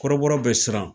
Kɔrɔbɔrɔ bɛ siran